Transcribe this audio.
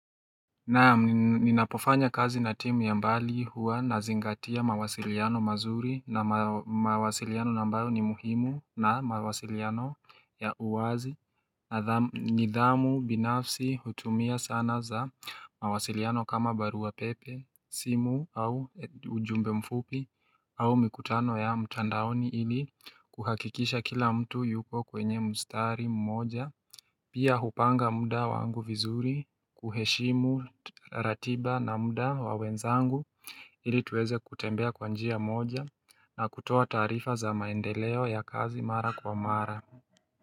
Naam ninapofanya kazi na timu ya mbali huwa nazingatia mawasiliano mazuri na mawasiliano ambayo ni muhimu na mawasiliano ya uwazi nidhamu binafsi hutumia sana za mawasiliano kama barua pepe, simu au ujumbe mfupi, au mikutano ya mtandaoni ili kuhakikisha kila mtu yuko kwenye mstari mmoja Pia hupanga muda wangu vizuri kuheshimu ratiba na muda wa wenzangu ili tuweze kutembea kwa njia moja na kutoa taarifa za maendeleo ya kazi mara kwa mara.